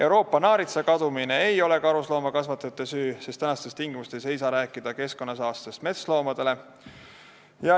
Euroopa naaritsa kadumine ei ole karusloomakasvatajate süü, sest tänastes tingimustes ei saa rääkida keskkonnasaastest metsloomade suhtes.